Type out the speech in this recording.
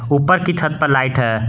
ऊपर की छत पर लाइट है।